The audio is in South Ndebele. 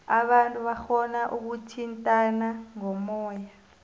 abantu barhona ukuthintana ngomoya